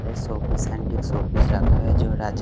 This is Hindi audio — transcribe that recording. शोपीस एंटिक शोपीस रखा है जो--